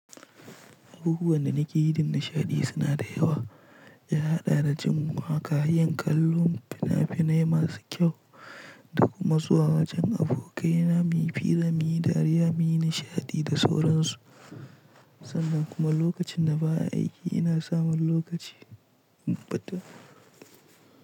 Abubuwan da nakeyi don nishaɗi suna da yawa. Ya haɗa da jin waka, yin kallon fina-finai masu kyau da kuma zuwa wajen abokaina muyi fira muyi dariya muyi nishaɗi da sauransu. Sannan kuma lokacin da ba a aiki ina samun lokaci. In fito.